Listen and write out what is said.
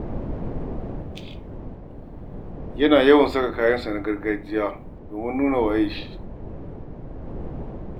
Yana yawaita saka kayansa na gargajiya domin nuna waye shi.